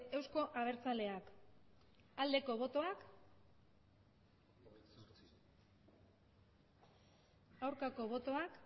euzko abertzaleak aldeko botoak aurkako botoak